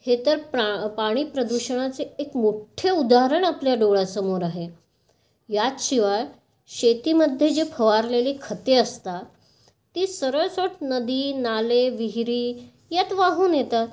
हे तर पाणी प्रदूषणाचे एक मोठे उदाहरण आपल्या डोळ्यांसमोर आहे. याशिवाय शेतीमध्ये फवारलेली जी खते असतात ती सरल नदी नाले, विहिरी यात वाहून येतात.